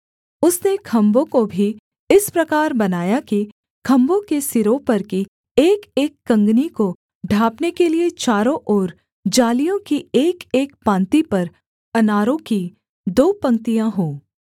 उसने खम्भों को भी इस प्रकार बनाया कि खम्भों के सिरों पर की एकएक कँगनी को ढाँपने के लिये चारों ओर जालियों की एकएक पाँति पर अनारों की दो पंक्तियाँ हों